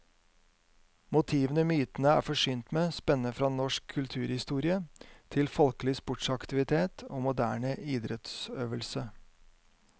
Motivene myntene er forsynt med, spenner fra norsk kulturhistorie til folkelig sportsaktivitet og moderne idrettsøvelse.